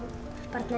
barnið